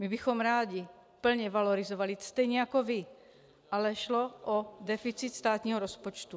My bychom rádi plně valorizovali stejně jako vy, ale šlo o deficit státního rozpočtu.